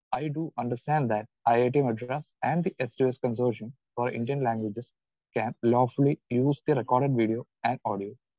Speaker 2 I do understand that I I T Madras and the S two S consortium for Indian languages can lawfully used recorded video and audio.